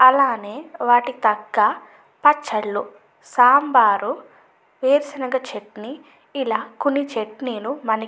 అలానే వాటికి తగ్గ పచ్చళ్ళు సాంబారు వేరుశెనగ చట్నీ ఇలా కొన్ని చట్నీలు మనకి --